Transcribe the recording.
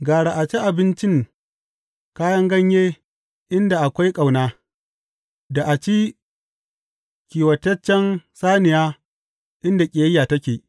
Gara a ci abincin kayan ganye inda akwai ƙauna da a ci kiwotaccen saniya inda ƙiyayya take.